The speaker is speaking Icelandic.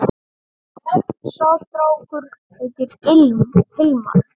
Sá strákur heitir Hilmar.